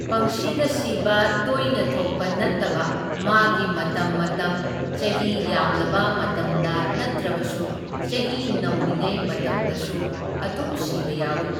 ꯄꯪꯁꯤꯗ ꯁꯤꯕ, ꯇꯣꯏꯅ ꯊꯣꯛꯄ ꯅꯠꯇꯕ ꯃꯥꯒꯤ ꯃꯇꯝ ꯃꯇꯝ ꯆꯍꯤ ꯌꯥꯝꯂꯕ ꯃꯇꯝꯗ ꯅꯇ꯭ꯔꯕꯁꯨ ꯆꯍꯤ ꯅꯧꯔꯤꯉꯩ ꯃꯇꯝꯗꯁꯨ ꯑꯗꯨꯝ ꯁꯤꯕ ꯌꯥꯎꯢ꯫